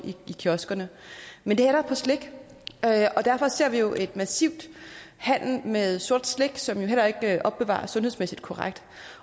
i kiosker men det er der på slik og derfor ser vi jo en massiv handel med sort slik som heller ikke opbevares sundhedsmæssigt korrekt